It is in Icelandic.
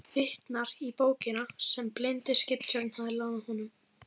Vitnar í bókina sem blindi skipstjórinn hafði lánað honum.